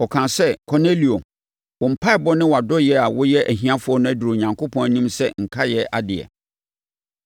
Ɔkaa sɛ, ‘Kornelio, wo mpaeɛbɔ ne wʼadɔeɛ a woyɛ ahiafoɔ no aduru Onyankopɔn anim sɛ nkaeɛ adeɛ.